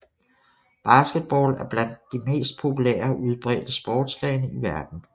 Basketball er blandt de mest populære og udbredte sportsgrene i verden